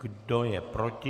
Kdo je proti?